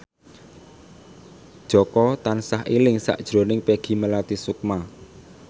Jaka tansah eling sakjroning Peggy Melati Sukma